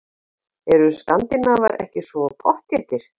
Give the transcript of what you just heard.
Eru skandinavar ekki svo pottþéttir?